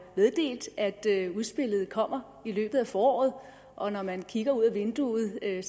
meddelt at udspillet kommer i løbet af foråret og når man kigger ud af vinduet kan